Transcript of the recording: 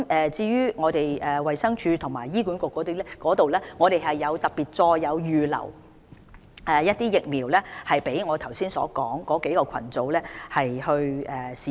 至於衞生署和醫管局方面，我們已特別再預留一些疫苗，供我剛才說的3個群組使用。